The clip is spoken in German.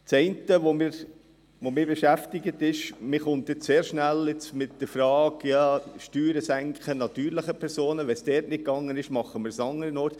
Das Eine, das mich beschäftig ist, dass man jetzt sehr schnell mit Steuersenkung bei natürlichen Personen kommt – weil es dort nicht ging, versuchen wir es anderswo.